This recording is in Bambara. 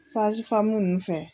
Sajifamu ninnu fɛ